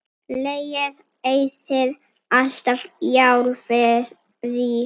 Lygin eyðir alltaf sjálfri sér.